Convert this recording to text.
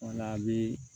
O la a bi